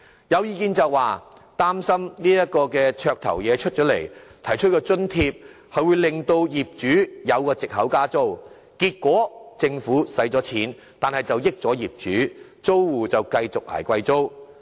有人擔心這項"綽頭"政策推出後，會令到業主有藉口加租，結果政府花了錢，但得益的卻是一眾業主，而租戶卻要繼續"捱貴租"。